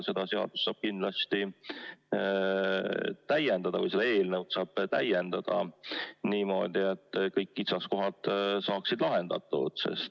Seda eelnõu saab aga kindlasti täiendada niimoodi, et kõik kitsaskohad saaksid lahendatud.